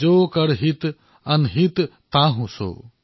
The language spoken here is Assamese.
জো কৰ হিত অনহিত তাহু সো